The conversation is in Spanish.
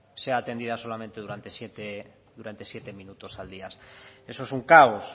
sea atendida solamente durante siete minutos al día eso es un caos